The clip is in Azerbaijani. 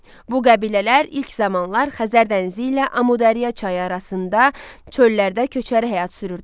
Bu qəbilələr ilk zamanlar Xəzər dənizi ilə Amudərya çayı arasında çöllərdə köçəri həyat sürürdülər.